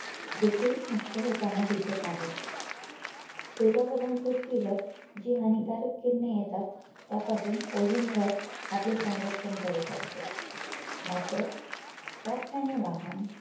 देखील नष्ट होताना दिसत आहे सूर्यावरून पृथ्वीवर जी हानिकारक किरणे येतात त्या पासून Ozone थर आपले संरक्षण करीत असतो मात्र कारखाने वाहन